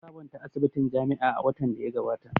An sabonta asibitin jami'a watan da ya gabata